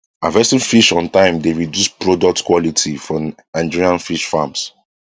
harvesting fish on time dey reduce products quality for nigerian fish farms